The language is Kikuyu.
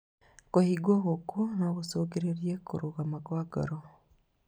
Kũhingwo gũkũ no gũcũngĩrĩrie kũrũgama kwa ngoro